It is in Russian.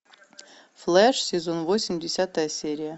флэш сезон восемь десятая серия